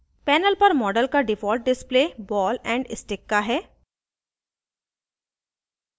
panel पर model का default display ball and stick का है